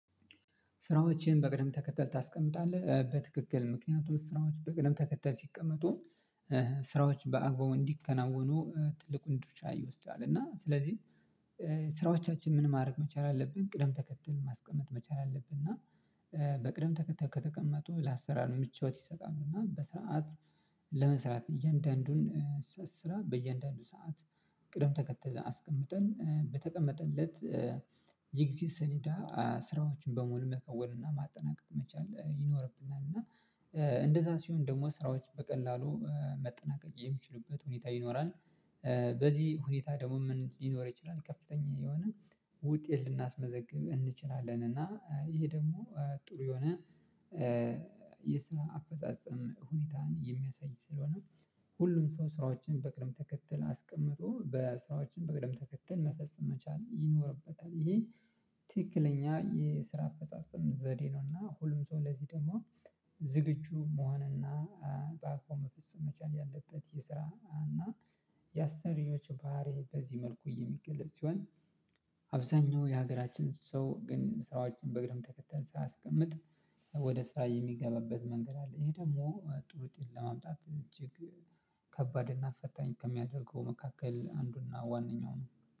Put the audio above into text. ስራዎችን በቅደም ተከተል ታስቀምጣለህ በትክክል ምክንያቱም ስራዎች በቅደም ተከተል ሲቀመጡ ስራዎች በአግባቡ እንዲከናወኑ ትልቁን ድርሻ ይወስዳል። እና ስለዚህ ስራዎቻችንን ምን ማድረግ መቻል አለብን ቅደም ተከተል ማስቀመጥ መቻል አለብን። እና በቅደም ተከተል ከተቀመጡ ለአሰራር ምቾት ይሰጣሉ። እና በስርዓት ለመስራት እያንዳንዱን ስራ በእያንዳንዱ ሰዓት ቅደም ተከተል አስቀምጠን በተቀመጠለት የጊዜ ሰሊዳ ስራዎችን በሙሉ መከወን እና ማጠናቀቅ መቻል ይኖርብናል። እና እንደዛ ሲሆን ደግሞ ስራዎች በቀላሉ መጠናቀቅ የሚችሉበት ሁኔታ ይኖራል። በዚህ ሁኔታ ደግሞ ምን ሊኖር ይችላል ከፍተኛ የሆነ ውጤት ልናስመዘግብ እንችላለን። እና ይሄ ደግሞ ጥሩ የሆነ የስራ አፈጻጸም ሁኔታን የሚያሳይ ስለሆነ ሁሉም ሰው ስራዎችን በቅደም ተከተል አስቀምጦ በስራዎችን በቅደም ተከተል መፈጸም መቻል ይኖርበታል። ይሄ ትክክለኛ የስራ አፈጻጸም ዘዴ ነው። እና ሁሉም ሰው ለዚህ ደግሞ ዝግጁ መሆን እና በአግባብ መፈጸም መቻል ያለበት የስራ እና የአሰሪዎች ባህሪ በዚህ መልኩ እየሚገለጽ ሲሆን። አብዛኛው የሀገራችን ሰው ግን ስራዎችን በቅደም ተከተል ሳያስቀምጥ ወደ ስራ የሚገባበት መንገድ አለ። ይሄ ደግሞ ጥሩ ውጤት ለማምጣት እጅግ ከባድ እና ፈታኝ ከሚያደርገው መካከል አንዱና ዋነኛው ነው